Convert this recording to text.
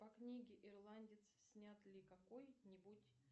по книге ирландец снят ли какой нибудь